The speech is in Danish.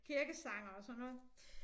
Kirkesangere og sådan noget